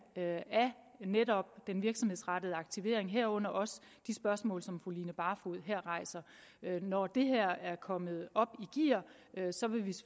af netop den virksomhedsrettede aktivering herunder også de spørgsmål som fru line barfod her rejser når det her er kommet op i gear